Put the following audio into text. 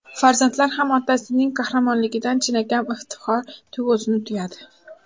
Farzandlar ham otasining qahramonligidan chinakam iftixor tuyg‘usini tuyadi.